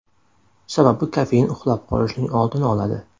Sababi kofein uxlab qolishning oldini oladi.